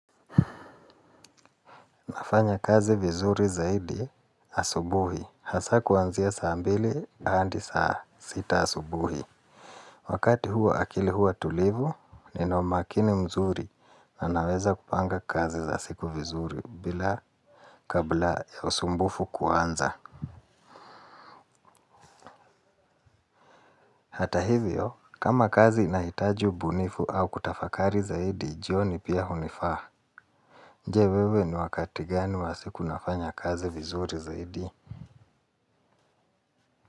Nafanya kazi vizuri zaidi asubuhi. Hasa kuanzia saa mbili hadi saa sita asubuhi. Wakati huwa akili huwa tulivu, nina umakini mzuri na naweza kupanga kazi za siku vizuri bila kabla ya usumbufu kuanza. Hata hivyo, kama kazi inahitaji ubunifu au kutafakari zaidi, jioni pia hunifaa. Je wewe ni wakati gani wa siku unafanya kazi vizuri zaidi?